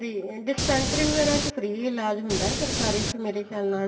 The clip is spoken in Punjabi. dispensary ਵਗੈਰਾ ਚ free ਇਲਾਜ ਹੁੰਦਾ ਸਰਕਾਰੀ ਚ ਮੇਰੇ ਖਿਆਲ ਨਾਲ